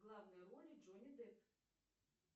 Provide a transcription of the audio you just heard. в главной роли джонни депп